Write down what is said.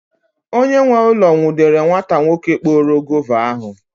Onye nwe ụlọ nwụdere nwata nwoke kporo guava ahụ.